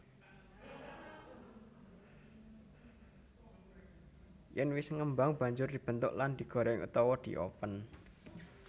Yèn wis ngembang banjur dibentuk lan digoreng utawa diopen